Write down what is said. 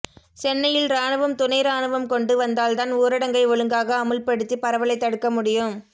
சென்னையில் ராணுவம் துணை ராணுவம் கொண்டு வந்தால் தான் ஊரடங்கை ஒழுங்காக அமுல் படுத்தி பரவலை தடுக்க முடியும்